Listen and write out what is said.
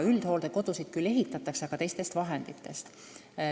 Üldhooldekodusid küll ehitatakse, aga teistest vahenditest.